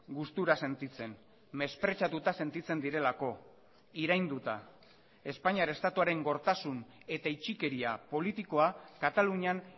gustura sentitzen mespretxatuta sentitzen direlako irainduta espainiar estatuaren gortasun eta itxikeria politikoa katalunian